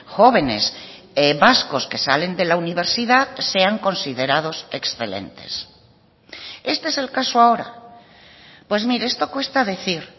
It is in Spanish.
jóvenes vascos que salen de la universidad sean considerados excelentes este es el caso ahora pues mire esto cuesta decir